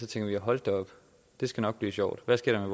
tænker hold da op det skal nok blive sjovt hvad sker